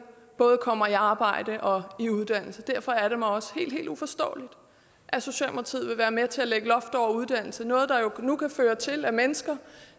både kommer i arbejde og i uddannelse derfor er det mig også helt helt uforståeligt at socialdemokratiet vil være med til at lægge loft over uddannelse noget der jo nu kan føre til at mennesker